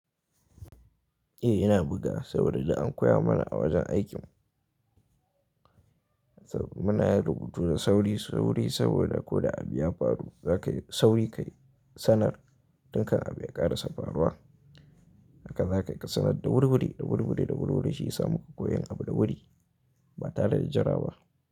Eh, yana buga saboda da an koya mana a wajen aikin. Muna yin rubutu da sauri, sauri saboda ko da abu ya faru, za ka yi sauri ka sanar. Tun kan abu ya ƙarasa faruwa. Haka za ka yi ka sanar da wuriwuri, da wuriwuri, da wuriwuri, shi ya samu koyon abu da wuri. Ba tare da jira ba.